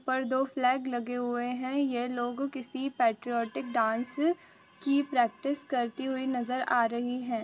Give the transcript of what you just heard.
पर दो फ्लैग लगे हुए हैं यह लोग किसी पैट्रियोटिक डांस की प्रैक्टिस करती हुई नजर आ रही है।